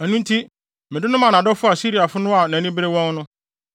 “Ɛno nti mede no maa nʼadɔfo Asiriafo no a nʼani bere wɔn no.